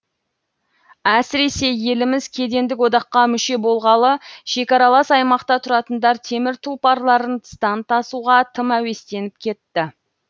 әсіресе еліміз кедендік одаққа мүше болғалы шекаралас аймақта тұратындар темір тұлпарларын тыстан тасуға тым әуестеніп кетті